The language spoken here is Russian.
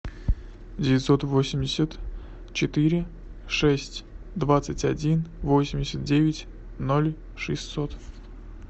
девятьсот восемьдесят четыре шесть двадцать один восемьдесят девять ноль шестьсот